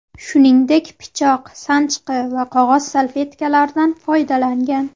Shuningdek, pichoq, sanchqi va qog‘oz salfetkalardan foydalangan.